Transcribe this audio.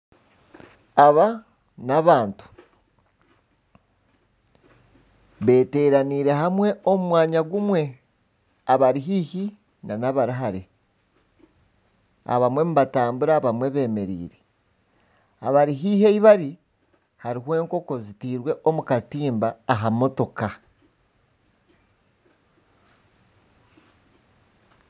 Aba n'abantu beteraneire hamwe omu mwanya gumwe abari haihi nana abari hare. Abamwe ni batambura abamwe bemereire. Abari haihi ahi bari hariho enkoko zitirwe omu katimba aha motoka